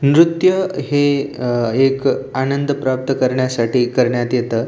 नृत्य हे एक आनंद प्राप्त करण्यासाठी करण्यात येत.